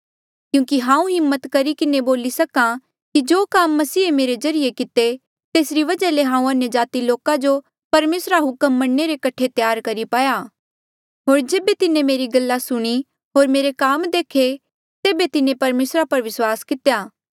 क्यूंकि हांऊँ हिम्मत करी किन्हें बोली सक्हा कि जो काम मसीहे मेरे ज्रीए किते तेसरी वजहा ले हांऊँ अन्यजाति लोका जो परमेसरा रा हुक्म मन्ने रे कठे त्यार करी पाया होर जेबे तिन्हें मेरी गल्ला सुणी होर मेरे काम देखे तेबे तिन्हें परमेसरा पर विस्वास कितेया